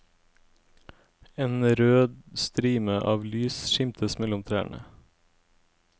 En rød strime av lys skimtes mellom trærne.